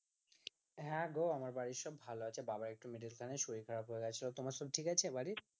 হ্যাঁ গো আমার বাড়ির সব ভালো আছে বাবা একটু middle খানে শরীর খারাপ হয়ে গেছিল তোমার সব সব ঠিক আছে বাড়ির